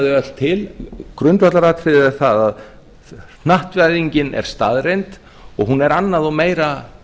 þau öll til en grundvallaratriðið er það að hnattvæðingin er staðreynd og hún er annað og meira